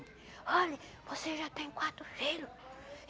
Olhe, você já tem quatro filho.